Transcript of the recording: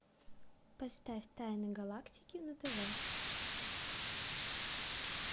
поставь тайны галактики на тв